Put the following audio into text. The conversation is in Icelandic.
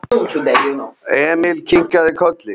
Emil kinkaði kolli.